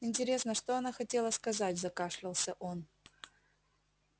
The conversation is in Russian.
интересно что она хотела сказать закашлялся он